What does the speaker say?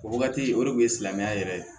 O wagati o de kun ye silamɛya yɛrɛ ye